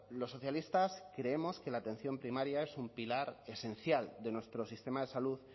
los socialistas creemos que la atención primaria es un pilar esencial de nuestro sistema de salud